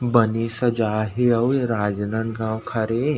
बने सजाए हे अउ ए राजनांदगाव